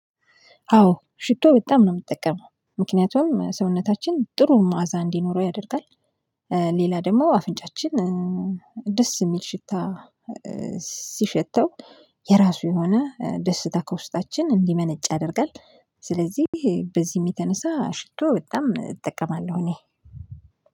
አዎ ሽቶ በጣም ነው የምጠቀመው። ምክንያቱም ሰውነታችን ጥሩ መዓዛ እንዲኖረው ያደርጋል። ሌላ ደግሞ አፍንጫችን ደስ የሚል ሽታ ሲሸተው የራሱ የሆነ ደስታ ከውስጣችን እንዲመነጭ ያደርጋል። ስለዚህ በዚህም የተነሳ ሽቶ በጣም እጠቀማለሁ እኔ።